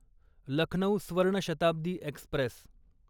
Lucknow Swarna Shatabdi Express